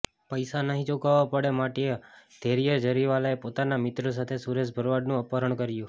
પૈસા નહીં ચુકવવા પડે માટે ધૈર્ય જરીવાલાએ પોતાના મિત્રો સાથે સુરેશ ભરવાડનું અપહરણ કર્યુ